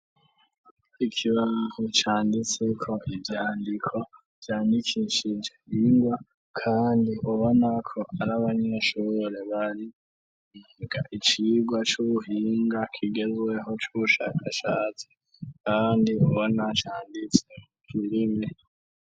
Ikibaho cyanditse ko ibyandiko byandikishije bingwa kandi ubona ko ariabanyeshure bandika icigwa c'ubuhinga kigezweho c'ushakashatsi kandi ubona cyanditse kirimwe.